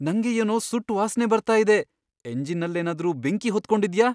ನಂಗೆ ಏನೋ ಸುಟ್ಟ್ ವಾಸ್ನೆ ಬರ್ತಾ ಇದೆ. ಎಂಜಿನ್ನಲ್ಲೇನಾದ್ರೂ ಬೆಂಕಿ ಹೊತ್ಕೊಂಡಿದ್ಯ?